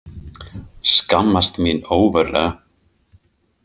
Skammast mín ógurlega.